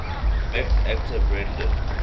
met actor brendan